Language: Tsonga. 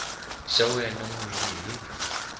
xa wena n wini hi